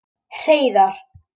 Hreiðar